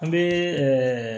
An bɛ ɛɛ